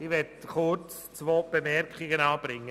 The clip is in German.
Ich möchte kurz zwei Bemerkungen anbringen.